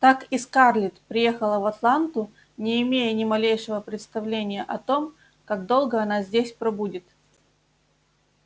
так и скарлетт приехала в атланту не имея ни малейшего представления о том как долго она здесь пробудет